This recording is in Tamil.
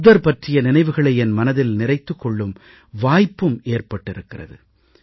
புத்தர் பற்றிய நினைவுகளை என் மனதில் நிறைத்துக் கொள்ளும் வாய்ப்பு ஏற்பட்டிருக்கிறது